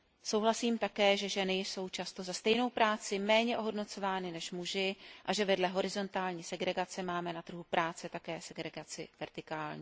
Souhlasím také, že ženy jsou často za stejnou práci méně ohodnocovány než muži a že vedle horizontální segregace máme na trhu práce také segregaci vertikální.